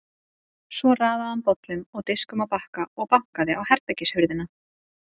Svo raðaði hann bollum og diskum á bakka og bankaði á herbergishurðina.